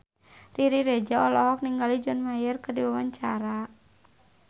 Riri Reza olohok ningali John Mayer keur diwawancara